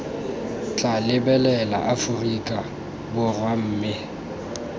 tla lebelela aforika borwa mme